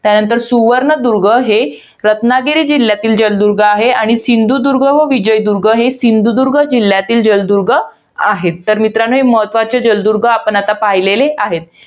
त्यानंतर सुवर्णदुर्ग हे रत्नागिरी जिल्ह्यातील जलदुर्ग आहे. आणि सिंधुदुर्ग व विजयदुर्ग हे सिंधुदुर्ग जिल्ह्यातील जलदुर्ग आहेत. तर मित्रांनो, हे महत्वाचे जलदुर्ग आपण आता पाहिलेले आहेत.